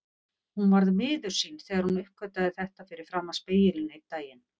Hún varð miður sín þegar hún uppgötvaði þetta fyrir framan spegilinn einn daginn.